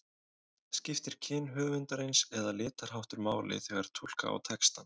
Skiptir kyn höfundarins eða litarháttur máli þegar túlka á textann?